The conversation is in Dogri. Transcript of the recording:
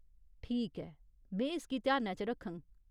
ठीक ऐ, में इसगी ध्यानै च रक्खङ।